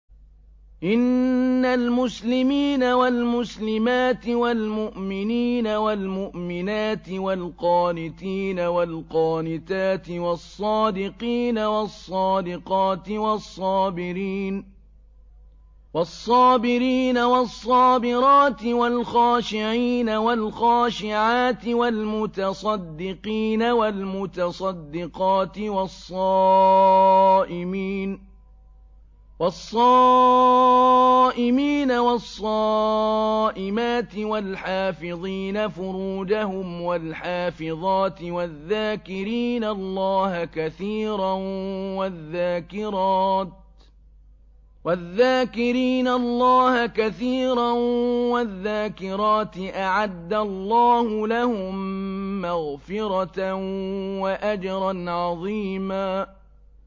إِنَّ الْمُسْلِمِينَ وَالْمُسْلِمَاتِ وَالْمُؤْمِنِينَ وَالْمُؤْمِنَاتِ وَالْقَانِتِينَ وَالْقَانِتَاتِ وَالصَّادِقِينَ وَالصَّادِقَاتِ وَالصَّابِرِينَ وَالصَّابِرَاتِ وَالْخَاشِعِينَ وَالْخَاشِعَاتِ وَالْمُتَصَدِّقِينَ وَالْمُتَصَدِّقَاتِ وَالصَّائِمِينَ وَالصَّائِمَاتِ وَالْحَافِظِينَ فُرُوجَهُمْ وَالْحَافِظَاتِ وَالذَّاكِرِينَ اللَّهَ كَثِيرًا وَالذَّاكِرَاتِ أَعَدَّ اللَّهُ لَهُم مَّغْفِرَةً وَأَجْرًا عَظِيمًا